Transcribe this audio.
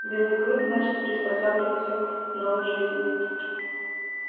белый клык начал приспосабливаться к новой жизни